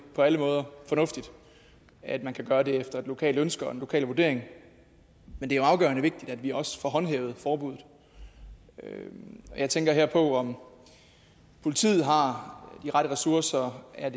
på alle måder fornuftigt at man kan gøre det efter et lokalt ønske og en lokal vurdering men det er afgørende vigtigt at vi også får håndhævet forbuddet her tænker jeg på om politiet har de rette ressourcer eller